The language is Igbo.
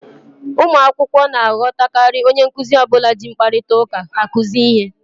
Ụmụ akwụkwọ na-aghọtakarị onye nkuzi ọbụla ji mkparịta ụka akụzi ihe